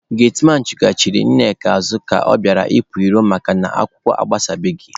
Getmanụ chụghachiri Nneka azụ ka ọ bịara ịpụ ilo makana akwụkwọ agbasabeghị